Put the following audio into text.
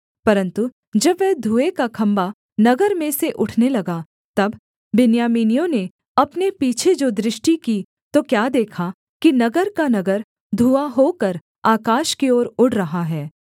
परन्तु जब वह धुएँ का खम्भा नगर में से उठने लगा तब बिन्यामीनियों ने अपने पीछे जो दृष्टि की तो क्या देखा कि नगर का नगर धुआँ होकर आकाश की ओर उड़ रहा है